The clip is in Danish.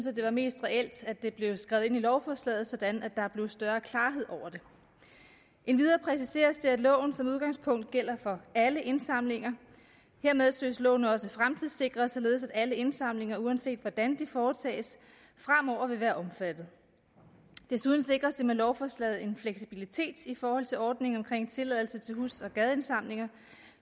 at det var mest reelt at det blev skrevet ind i lovforslaget sådan at der blev større klarhed over det endvidere præciseres det at loven som udgangspunkt gælder for alle indsamlinger hermed søges loven også fremtidssikret således at alle indsamlinger uanset hvordan de foretages fremover vil være omfattet desuden sikres der med lovforslaget en fleksibilitet i forhold til ordningen omkring tilladelse til hus og gadeindsamlinger